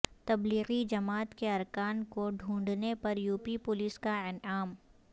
تبلیغی جماعت کے ارکان کو ڈھونڈنے پر یو پی پولیس کا انعام